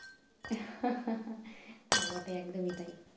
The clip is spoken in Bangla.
হা হা হা তা বটে একদমই তাই।